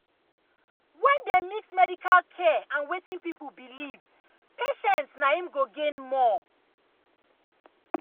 when dem mix medical mix medical care and wetin people believe patients naim go gain more.